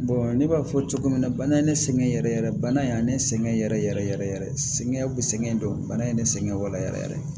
ne b'a fɔ cogo min na bana ye ne sɛgɛn yɛrɛ yɛrɛ bana ye ne sɛgɛn yɛrɛ yɛrɛ yɛrɛ sɛgɛn bɛ sɛgɛn don bana in ye ne sɛgɛn wala yɛrɛ yɛrɛ